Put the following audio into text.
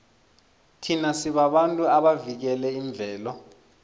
thina sibabantu abavikela imvelo